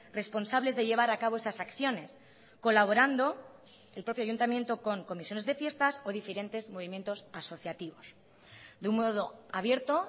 responsables de llevar a cabo esas acciones colaborando el propio ayuntamiento con comisiones de fiestas o diferentes movimientos asociativos de un modo abierto